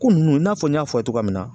Ko nunnu i n'a fɔ n y'a fɔ ye cogoya min na